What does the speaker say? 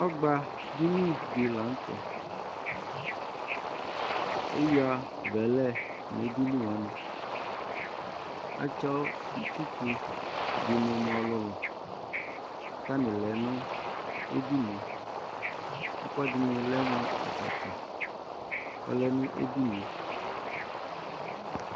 Ɔgbadini dɩ la nʋ tɛ Eyuǝ vɛlɛ nʋ edini wanɩ Atsɔ itsu dɩnɩ mʋ ɔlʋlʋ kʋ atanɩ lɛ nʋ edini yɛ Ɛkʋɛdɩnɩ lɛ mʋ atsatsa Ɔlɛ nʋ edini yɛ